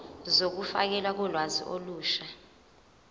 zokufakelwa kolwazi olusha